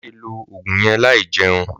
Má ṣe lo òògùn yẹn láì jẹun!